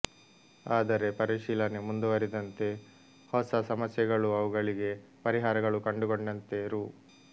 ಆದರೆ ಪರಿಶೀಲನೆ ಮುಂದುವರಿದಂತೆ ಹೊಸ ಸಮಸ್ಯೆಗಳೂ ಅವುಗಳಿಗೆ ಪರಿಹಾರಗಳೂ ಕಂಡುಕೊಂಡಂತೆ ರೂ